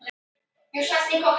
Það er bara ekkert pláss fyrir það.